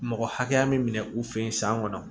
Mɔgɔ hakɛya min minɛ u fɛ yen san kɔnɔ